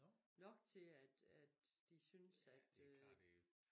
Nok til at at de synes at øh